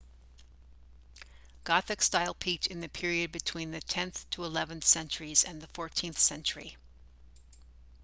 gothic style peaked in the period between the 10th - 11th centuries and the 14th century